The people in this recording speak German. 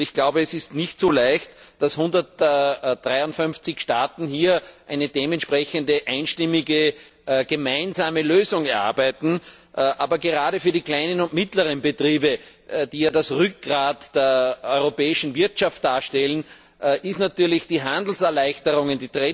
Ich glaube, es ist nicht so leicht, dass 153 Staaten hier eine dementsprechende einstimmige gemeinsame Lösung ausarbeiten, aber gerade für die kleinen und mittleren Betriebe, die ja das Rückgrad der europäischen Wirtschaft darstellen, sind natürlich die Handelserleichterungen